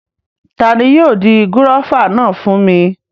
Tani yóò di gúróvà náà mú fún mi?